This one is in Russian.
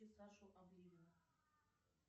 сашу обливина